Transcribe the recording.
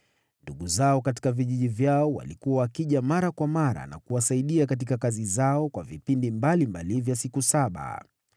Ndugu zao katika vijiji vyao walikuwa wakija mara kwa mara na kuwasaidia katika kazi zao kwa vipindi mbalimbali vya siku saba.